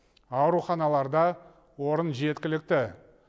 ауруханаларда орын жеткілікті